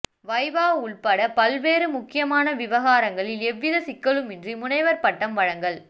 வைவா உள்பட பல்வேறு முக்கியமான விவகாரங்களில் எந்தவித சிக்கலுமின்றி முனைவர் பட்டம் வழங்கல்